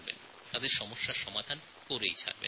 লোকেদের সমস্যার সমাধান করার খুবই দরকার